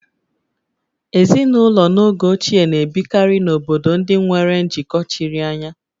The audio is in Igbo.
Ezinụlọ n'oge ochie na-ebikarị n'obodo ndị nwere njikọ chiri anya